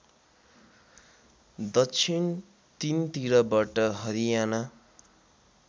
दक्षिण तीनतिरबाट हरियाना